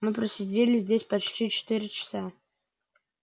мы просидели здесь почти четыре часа